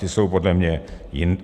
Ty jsou podle mě jinde.